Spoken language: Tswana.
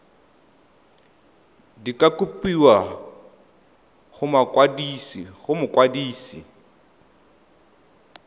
di ka kopiwa go mokwadise